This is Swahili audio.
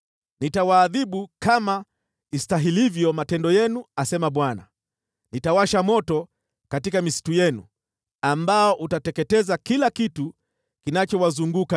Nitawaadhibu kama istahilivyo matendo yenu, asema Bwana . Nitawasha moto katika misitu yenu ambao utateketeza kila kitu kinachowazunguka.’ ”